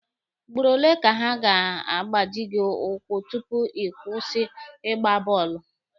Ugboro ole ka ha ga-agbaji gị ụkwụ tupu ịkwụsị ịgba bọọlụ?